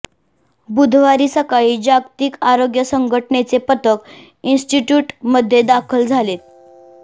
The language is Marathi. बुधवारी सकाळी जागतिक आरोग्य संघटनेचे पथक इन्स्टिट्यूटमध्ये दाखल झालेत